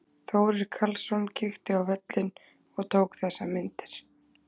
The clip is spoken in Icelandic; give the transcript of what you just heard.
Þórir Karlsson kíkti á völlinn og tók þessar myndir.